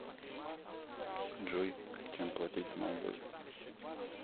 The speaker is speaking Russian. джой чем платить в молдове